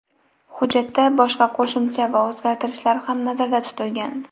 Hujjatda boshqa qo‘shimcha va o‘zgartirishlar ham nazarda tutilgan.